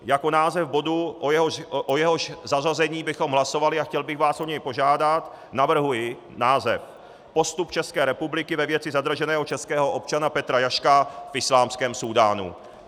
Jako název bodu, o jehož zařazení bychom hlasovali, a chtěl bych vás o něj požádat, navrhuji název Postup České republiky ve věci zadrženého českého občana Petra Jaška v islámském Súdánu.